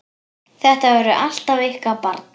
Þetta verður alltaf ykkar barn!